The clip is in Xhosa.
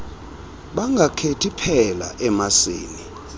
bangakhethi phela emasini